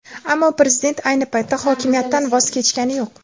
Ammo prezident ayni paytda hokimiyatdan voz kechgani yo‘q.